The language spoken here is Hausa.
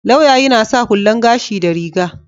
Lauya yana sa hullan gashi da riga.